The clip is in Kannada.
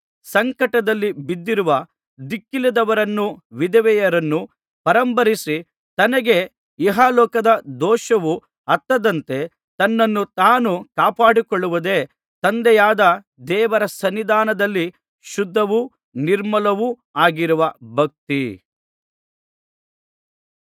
ಸಂಕಟದಲ್ಲಿ ಬಿದ್ದಿರುವ ದಿಕ್ಕಿಲ್ಲದವರನ್ನೂ ವಿಧವೆಯರನ್ನೂ ಪರಾಂಬರಿಸಿ ತನಗೆ ಇಹಲೋಕದ ದೋಷವು ಹತ್ತದಂತೆ ತನ್ನನ್ನು ತಾನು ಕಾಪಾಡಿಕೊಳ್ಳುವುದೇ ತಂದೆಯಾದ ದೇವರ ಸನ್ನಿಧಾನದಲ್ಲಿ ಶುದ್ಧವೂ ನಿರ್ಮಲವೂ ಆಗಿರುವ ಭಕ್ತಿ